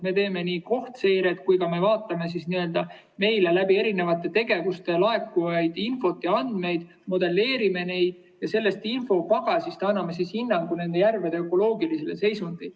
Me teeme nii kohtseiret kui ka vaatame meile erinevate tegevuste tõttu laekuvat infot ja andmeid, modelleerime neid, ja selle infopagasi alusel anname hinnangu nende järvede ökoloogilisele seisundile.